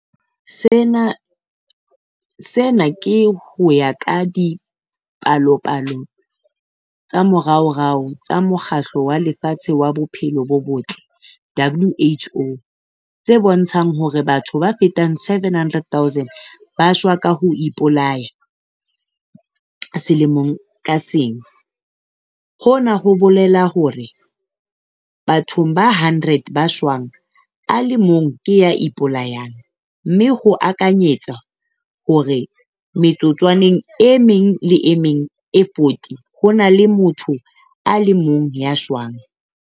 Sena ke ho ya ka dipalopalo tsa moraorao tsa Mokgatlo wa Lefatshe wa Bophelo bo Botle WHO, tse bontshang hore batho ba fetang 700 000 ba shwa ka ho ipolaya selemo ka seng - hona ho bolela hore bathong ba 100 ba shwang a le mong ke ya ipolayang, mme ho akanyetswa hore metsotswaneng e meng le e meng e 40 ho na le motho a le mong ya shwang.